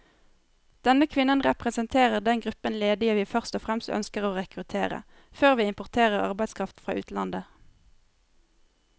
Denne kvinnen representerer den gruppen ledige vi først og fremst ønsker å rekruttere, før vi importerer arbeidskraft fra utlandet.